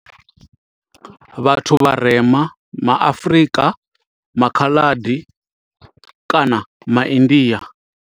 Vhathu vharema ma Afrika, ma Khaladi kana ma India.